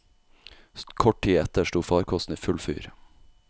Kort tid etter sto farkosten i full fyr.